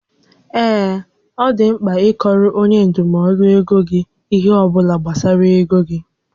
Ee, ọ dị mkpa ịkọọrọ onye ndụmọdụ ego gị ihé ọbụla gbasara égo gị